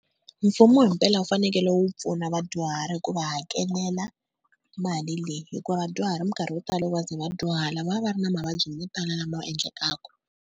Mfumo himpela wu fanekele wu pfuna vadyuhari hi ku va hakelela mali leyi, hikuva vadyuhari minkarhi yo tala loko va ze va dyuhala va va va ri na mavabyi mo tala lama endlekaka.